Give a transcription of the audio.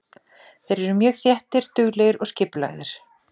Þeir eru mjög þéttir, duglegir og skipulagðir.